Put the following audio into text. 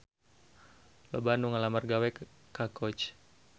Loba anu ngalamar gawe ka Coach